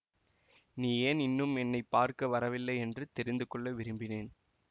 நீ ஏன் இன்னும் என்னை பார்க்க வரவில்லையென்று தெரிந்து கொள்ள விரும்பினேன்